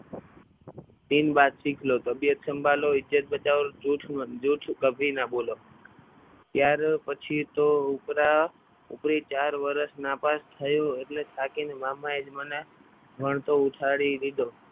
તીન બાત સીખ લો તબિયત સંભાલો ઇજ્જત બચાવ ઓર જુઠ જુઠ કભી મત બોલો ત્યાર પછી તો ઉપરા ઉપરી ચાર વર્ષ નાપાસ થયો એટલે થાકીને મામા એ જ મને ભણતો ઉઠાડી દીધો.